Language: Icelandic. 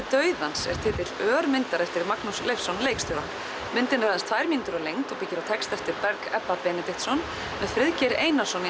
dauðans er titill örmyndar eftir Magnús Leifsson leikstjóra myndin er aðeins tvær mínútur að lengd og byggir á texta eftir Berg Ebba Benediktsson með Friðgeiri Einarssyni í